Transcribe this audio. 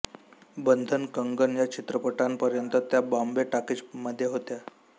बंधन कंगन या चित्रपटांपर्यंत त्या बॉम्बे टॉकीजमध्ये होत्या